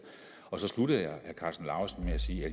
og så sluttede jeg af med sige